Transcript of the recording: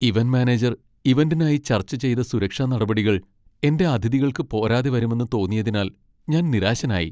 Event manager ഇവന്റിനായി ചർച്ച ചെയ്ത സുരക്ഷാ നടപടികൾ എന്റെ അതിഥികൾക്ക് പോരാതെ വരുമെന്ന് തോന്നിയതിനാൽ ഞാൻ നിരാശനായി.